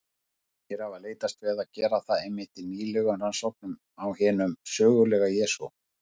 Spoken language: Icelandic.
Margir hafa leitast við að gera það einmitt í nýlegum rannsóknum á hinum sögulega Jesú.